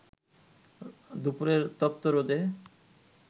দুপুরের তপ্ত রোদে